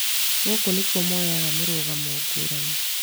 Gũkũ nĩkuo moyaga mĩrũgamo ngũrani